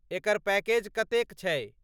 एकर package कतेक छै?